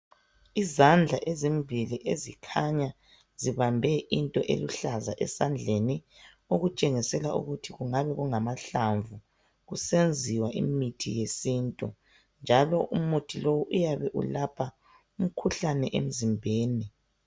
Izandla ezimbili ezikhanya zibambe into eluhlaza esandleni okutshengisela ukuthi kungani kungamahlamvu kusenziwa imithi yesintu njalo umuthi lowu uyabe ulapha umkhuhlane emzimbeni